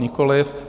Nikoliv.